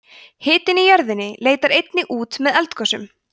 hitinn í jörðinni leitar einnig út með eldgosum